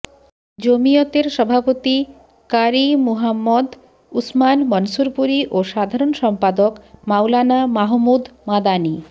জমিয়তের সভাপতি ক্বারি মুহাম্মদ উসমান মনসুরপুরী ও সাধারণ সম্পাদক মাওলানা মাহমুদ মাদানী